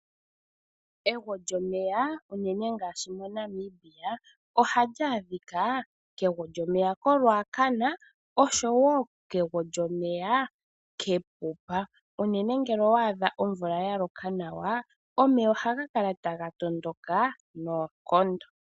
Egwo lyomeya unene ngaashi moNamibia ohali adhika kegwo lyomeya koRuacana oshowoo kegwo lyomeya kEpupa. Unene ngele owaadha omvula yaloka nawa . Omeya ohaga kala taga tondoka noonkondo.